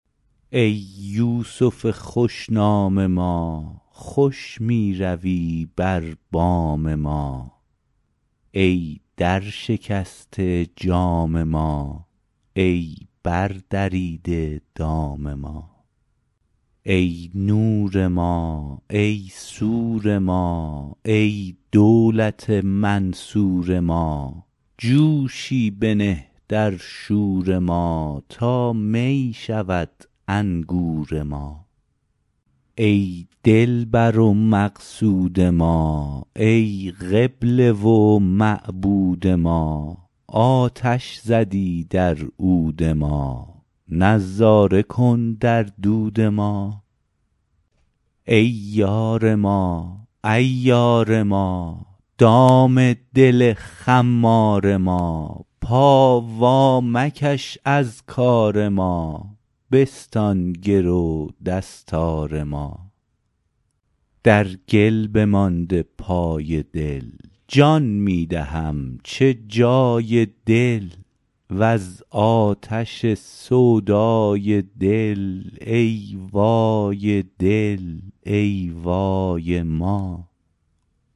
ای یوسف خوش نام ما خوش می روی بر بام ما ای درشکسته جام ما ای بردریده دام ما ای نور ما ای سور ما ای دولت منصور ما جوشی بنه در شور ما تا می شود انگور ما ای دلبر و مقصود ما ای قبله و معبود ما آتش زدی در عود ما نظاره کن در دود ما ای یار ما عیار ما دام دل خمار ما پا وامکش از کار ما بستان گرو دستار ما در گل بمانده پای دل جان می دهم چه جای دل وز آتش سودای دل ای وای دل ای وای ما